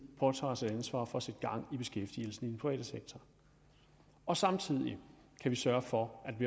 påtager sig et ansvar for sat gang i beskæftigelsen i private sektor og samtidig sørger for